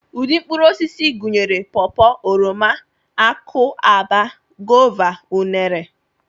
Ụdị mkpụrụosisi gụnyere pọpọ, oroma, akwụaba, gova, unere